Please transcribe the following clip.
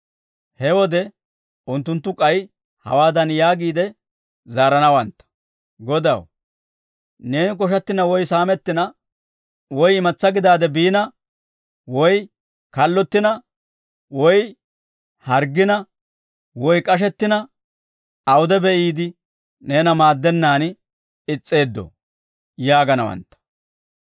«He wode unttunttu k'ay hawaadan yaagiide zaaranawantta; ‹Godaw, neeni koshattina woy saamettina, woy imatsaa gidaade biina woy kallottina, woy harggina woy k'ashettina, awude be'iide, neena maaddennaan is's'eeddoo?› yaaganawantta.